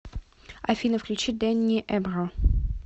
афина включи дэнни эбро